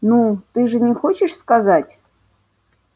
ну ты же не хочешь сказать